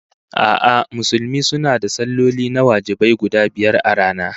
A'a, Musulmi suna da salloli na wajibai guda biyar a rana